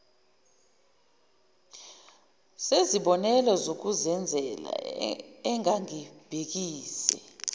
zezibonelo zokuzenzela engangibhekise